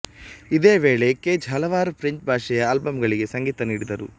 ಇದೇ ವೇಳೆ ಕೇಜ್ ಹಲವಾರು ಫ್ರೆಂಚ್ ಭಾಷೆಯ ಆಲ್ಬಂಗಳಿಗೆ ಸಂಗೀತ ನೀಡಿದರು